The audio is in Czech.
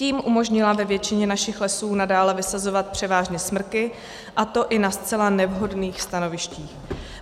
Tím umožnila ve většině našich lesů nadále vysazovat převážně smrky, a to i na zcela nevhodných stanovištích.